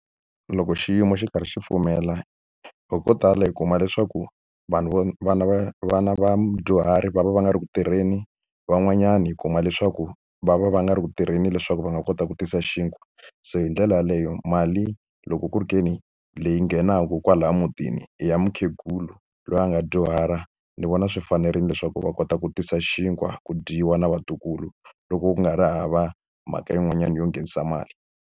Loko xiyimo xi karhi xi pfumela hi ko tala hi kuma leswaku vanhu vo vana va vona vadyuhari va va va nga ri ku tirheni van'wanyani hi kuma leswaku va va va nga ri ku tirheni leswaku va nga kota ku tisa xinkwa se hi ndlela yeleyo mali loko ku ri ke ni leyi nghenaka kwalaya mutini i ya mukhegula loyi a nga dyuhala ndzi vona swi fanerile leswaku va kota ku tisa xinkwa ku dyiwa na vatukulu loko ku nga ri hava mhaka yin'wanyana yo nghenisa mali.